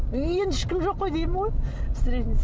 өй енді ешкім жоқ қой деймін ғой